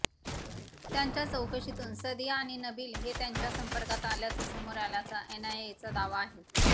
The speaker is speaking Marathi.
त्यांच्या चौकशीतून सादिया आणि नबील हे त्यांच्या संपर्कात असल्याचं समोर आल्याचा एनआयएचा दावा आहे